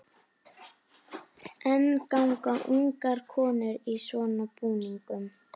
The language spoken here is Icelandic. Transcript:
En ganga ungar konur í svona búningum?